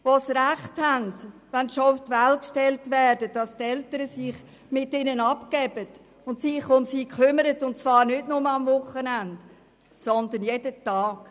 Diese haben das Recht, wenn sie auf die Welt gestellt werden, dass sich Eltern mit ihnen befassen und sich um sie kümmern, und zwar nicht nur am Wochenende, sondern jeden Tag.